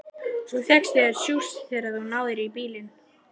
Svo fékkstu þér sjúss þegar þú náðir í bílinn.